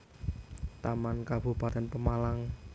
Taman Kabupatén Pemalang